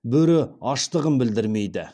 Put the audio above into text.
бөрі аштығын білдірмейді